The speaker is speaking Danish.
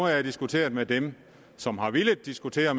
jeg diskuteret med dem som har villet diskutere